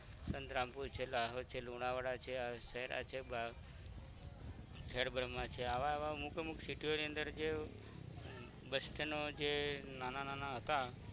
સંગરમપુર છે લાહોદ છે લોનવાલા છે અરસેરા છે ખેદ ભ્રમહા છે આવા આવા અમુક અમુક city ઓ ની અંદર જે bus stand ડો જે નાના નાના હતા